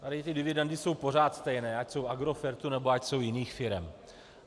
Tady ty dividendy jsou pořád stejné, ať jsou Agrofertu, nebo ať jsou jiných firem.